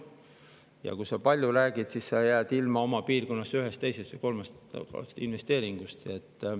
Ja kui sa palju räägid, siis jääd ilma oma piirkonnas ühest, teisest või kolmandast investeeringust.